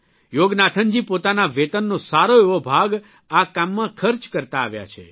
યોગનાથનજી પોતાના વેતનનો સારો એવો ભાગ આ કામમાં ખર્ચ કરતા આવ્યા છે